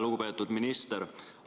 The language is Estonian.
Lugupeetud minister!